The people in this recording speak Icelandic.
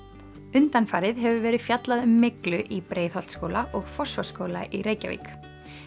undanfarið hefur verið fjallað um myglu í Breiðholtsskóla og Fossvogsskóla í Reykjavík